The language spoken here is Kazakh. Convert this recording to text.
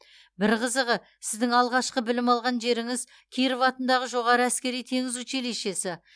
бір қызығы сіздің алғашқы білім алған жеріңіз киров атындағы жоғары әскери теңіз училищесі